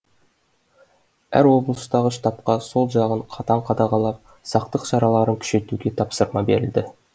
әр облыстағы штабқа сол жағын қатаң қадағалап сақтық шараларын күшейтуге тапсырма берілді